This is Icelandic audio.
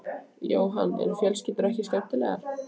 Jóhann: Eru fjölskyldur ekki skemmtilegar?